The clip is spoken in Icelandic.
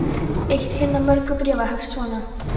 Eitt hinna mörgu bréfa hefst svona